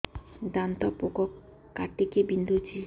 ଦାନ୍ତ ପୋକ କାଟିକି ବିନ୍ଧୁଛି